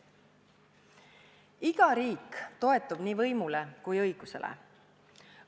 Iga riik toetub nii võimule kui ka õigusele.